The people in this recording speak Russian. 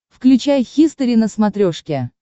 включай хистори на смотрешке